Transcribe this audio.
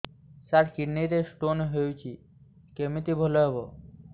ସାର କିଡ଼ନୀ ରେ ସ୍ଟୋନ୍ ହେଇଛି କମିତି ଭଲ ହେବ